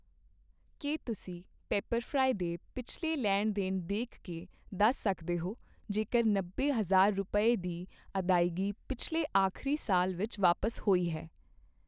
ਕੀ ਤੁਸੀਂਂ ਪੀਪਰਫਰਾਈ ਦੇ ਪਿਛਲੀ ਲੈਣ ਦੇਣ ਦੇਖ ਕੇ ਦੱਸ ਸਕਦੇ ਹੋ ਜੇਕਰ ਨੱਬੇ ਹਜ਼ਾਰ ਰੁਪਏ, ਦੀ ਅਦਾਇਗੀ ਪਿਛਲੇ ਆਖਰੀ ਸਾਲ ਵਿੱਚ ਵਾਪਸ ਹੋਈ ਹੈ?